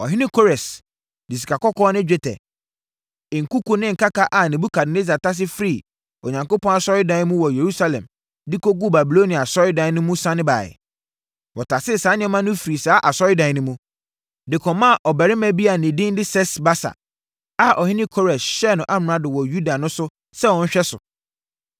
Ɔhene Kores de sikakɔkɔɔ ne dwetɛ, nkuku ne nkaka a Nebukadnessar tase firii Onyankopɔn asɔredan mu wɔ Yerusalem de kɔguu Babilonia asɔredan mu no sane baeɛ. Wɔtasee saa nneɛma no firii saa asɔredan no mu, de kɔmaa ɔbarima bi a ne din de Sesbasar a ɔhene Kores hyɛɛ no amrado wɔ Yuda no sɛ ɔnhwɛ so.